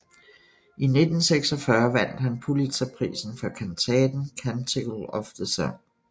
I 1946 vandt han Pulitzerprisen for kantaten Canticle of the Sun